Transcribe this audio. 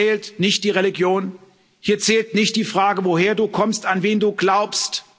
Hier zählt nicht die Religion, hier zählt nicht die Frage, woher du kommst, an wen du glaubst.